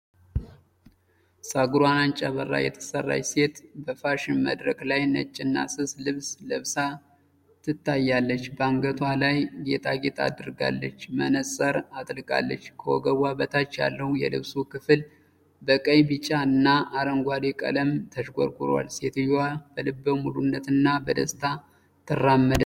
ፀጉሯን አንጨብራ የተሰራች ሴት፣ በፋሽን መድረክ ላይ ነጭና ስስ ልብስ ለብሳ ትታያለች። በአንገቷ ላይ ጌጣጌጥ አድርጋለች፣ መነፅር አጥልቃለች። ከወገቧ በታች ያለው የልብሱ ክፍል በቀይ፣ ቢጫ እና አረንጓዴ ቀለም ተዥጎርጉሯል። ሴትየዋ በልበ ሙሉነትና በደስታ ትራመዳለች።